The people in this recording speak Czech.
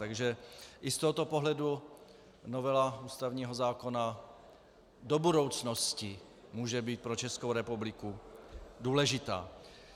Takže i z tohoto pohledu novela ústavního zákona do budoucnosti může být pro Českou republiku důležitá.